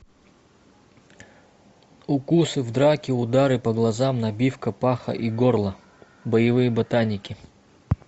укусы в драке удары по глазам набивка паха и горла боевые ботаники